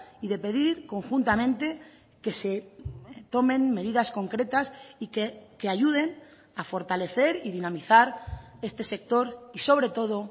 y de pedir conjuntamente que se tomen medidas concretas que ayuden a fortalecer y dinamizar este sector y sobre todo